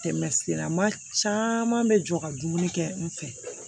Tɛmɛ sira ma caman bɛ jɔ ka dumuni kɛ n fɛ